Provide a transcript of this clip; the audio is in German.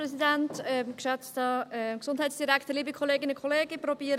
Ich versuche, es kurz zu machen.